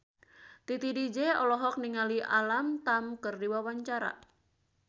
Titi DJ olohok ningali Alam Tam keur diwawancara